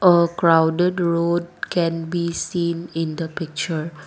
a crowded road can be seen in the picture.